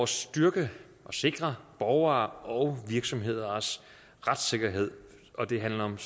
styrke og sikre borgeres og virksomheders retssikkerhed det handler om